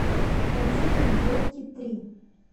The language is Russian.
найди мне елки три